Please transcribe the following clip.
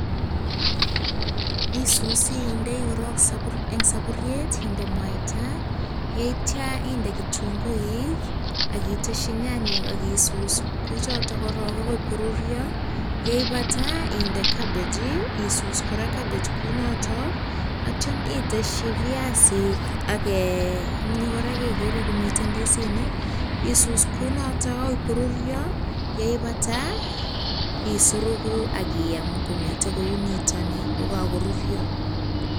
Isusi indei korok eng saburyet, inde mwaita, inde kitunguik AK iteshi nyanyek korok AK isus korok neityo inde cabbage kora AK isus kora kounotok. Neitio iteshi viasinik kora kegere komi ndisinik, isus kou notok agoi koruryo. Yeibata isuruku AK iyam komiten kou nitoni kokakoruryo.